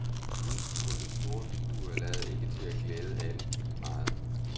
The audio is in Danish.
Udestuernes store vinduer lader ikke til at glæde alle lige meget.